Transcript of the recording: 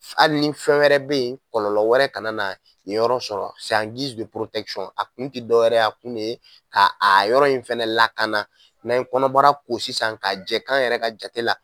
Hali ni fɛn wɛrɛ bɛ yen kɔlɔnlɔ wɛrɛ ka na na nin yɔrɔ sɔrɔ a kun tɛ dɔwɛrɛ ye, a kun de ye ka a yɔrɔ in fɛnɛ lakana. N'an ye kɔnɔbara in ko sisan ka jɛ kan yɛrɛ ka jate la